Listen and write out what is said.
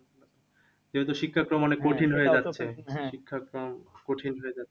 যেহেতু শিক্ষাক্রম অনেক কঠিন হয়ে যাচ্ছে। শিক্ষাক্রম কঠিন হয়ে যাচ্ছে।